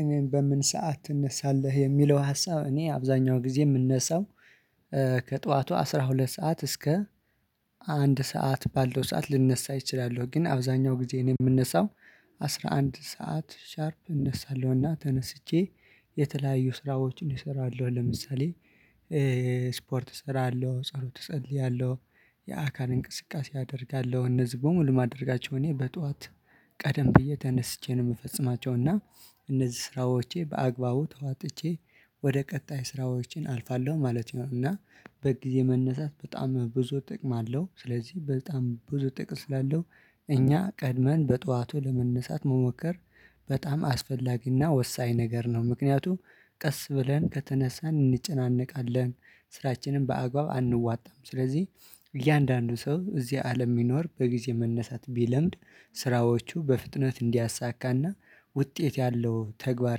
እኔ በምን ሰዓት ትነሳለህ የሚለው ሀሳብ እኔ አብዛኛው ጊዜ የምነሳው ከጠዋቱ አስራ ሁለት ሰዓት እስከ አንድ ሰዓት ባለው ሰዓት ልንነሳ እችላለሁ። ግን አብዛኛው ጊዜ እኔ የምነሳው አስራ አንድ ሰዓት ሻርፕ እነሳለሁ። እና ተነስቼ የተለያዩ ስራዎችን እሰራለሁ። ለምሳሌ ስፖርት እሰራለሁ ጸሎት እጸልያለሁ። የአካል እንቅስቃሴ አደርጋለሁ እነዚህ በሙሉ ማድረጋቸው እኔ በጧት ቀደም ብዬ ተነስቼ ነው የምፈጽማቸው እና እነዚህ ስራዎቼ በአግባቡ ተዋጥቼ ወደ ቀጣይ ስራዎቼ አልፋለሁ ማለት ነው። እና በጊዜ መነሳት በጣም ብዙ ጥቅም አለው። ስለዚህ በጣም ብዙ ጥቅም ስላለው እኛ ቀድመን በጥዋቱ ለመነሳት መሞከር በጣም አስፈላጊና ወሳኝ ነገር ነው። ምክንያቱም ቀስ ብለን ከተነሳን እንጨነቃለን ስራችንን በአግባብ አንወጣም። ስለዚህ እያንዳንዱ ሰው እዚህ አለም እሚኖር በጊዜ መነሳት ቢለምድ ስራዎቹ በፍጥነት እንዲያሳካና ውጤት ያለው ተግባር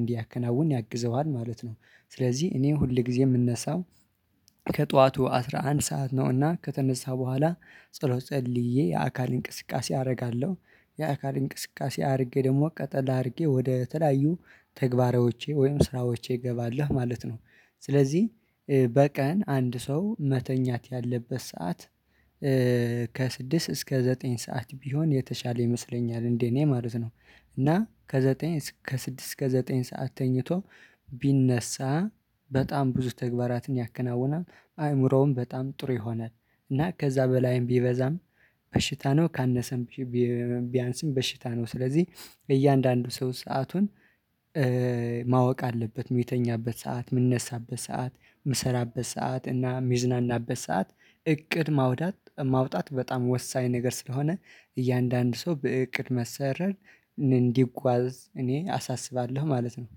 እንዲያከናውን ያግዘዋል ማለት ነው። ስለዚህ እኔ ሁል ጊዜ እምነሳው ከጠዋቱ አስራ አንድ ሰዓት ነውና ከተነሳ በኋላ ጸሎት ጸልዬ የአካል እንቅስቃሴ አደርጋለሁ። የአካል እንቅስቃሴ አድርጌ ደግሞ ቀጠል አድርጌ ወደ ተለያዩ ተግባሮቼ ወይም ስራዎቼ እገባለሁ ማለት ነው። ስለዚህ በቀን አንድ ሰው መተኛት ያለበት ሰዓት ከስድስት እስከ ዘጠኝ ሰዓት ቢሆን የተሻለ ይመስለኛል እንደ እኔ ማለት ነው። እና ከዘጠኝ ከስድስት እስከ ዘጠኝ ሰዓት ተኝቶ ቢነሳ በጣም ብዙ ተግባራትን ያከናውናል። አይምሮውም በጣም ጥሩ የሆነ እና ከዛ በላይም ቢበዛም በሽታ ነው ካነሰም ቢያንስም በሽታ ነው። ስለዚህ እያንዳንዱ ሰው ሰአቱን ማወቅ አለበት እሚተኛበት ሰዓት እሚነሳበት ሰዓት እሚሰራበት ሰዓት እና እሚዝናናበት ሰዓት እቅድ ማውጣት ማውጣት በጣም ወሳኝ ነገር ስለሆነ እያንዳንዱ ሰው በእቅድ መሰረት እንዲጓዝ እኔ አሳስባለሁ ማለት ነው